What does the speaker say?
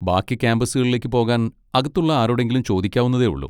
ബാക്കി ക്യാമ്പസുകളിലേക്ക് പോകാൻ അകത്തുള്ള ആരോടെങ്കിലും ചോദിക്കാവുന്നതേ ഉള്ളൂ.